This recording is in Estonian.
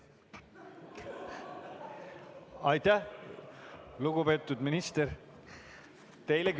Aitäh, lugupeetud minister!